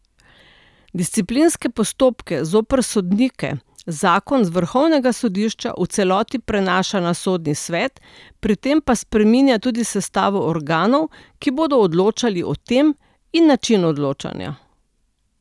Disciplinske postopke zoper sodnike zakon z vrhovnega sodišča v celoti prenaša na Sodni svet, pri tem pa spreminja tudi sestavo organov, ki bodo odločali o tem, in način odločanja.